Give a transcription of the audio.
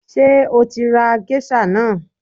Ṣé o tí ra géṣà náà?